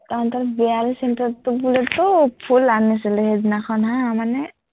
তহঁতৰ বিহালী চেন্টাৰততো পুৰা ফুল আনিছিলো হা সেইদিনাখন মানে